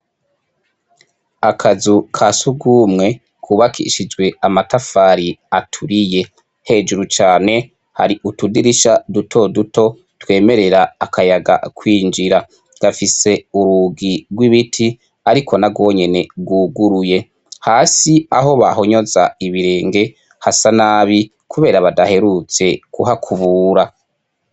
Akazu kasugumwe kubakishijwe amatafari aturiye ,hejuru cane har'utudirisha duto duto twemerera akayaga kwinjira, gafise urugi rw'ibiti ariko narwonyene rwuguruye, hasi aho bahonyoza ibirenge hasa nabi kubera badaherutse kuhakubura.